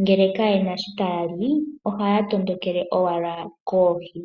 ngele kaye na shi taya li ohaya tondokele owala koohi.